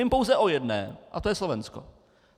Vím pouze o jedné a to je Slovensko.